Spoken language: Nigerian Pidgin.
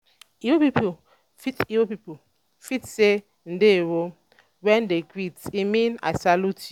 igbo people fit igbo people fit say "ndewo" when dem greet e mean "i salute you."